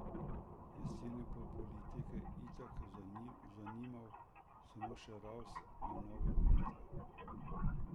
Jeseni bo politike itak zanimal samo še ravs za nove volitve.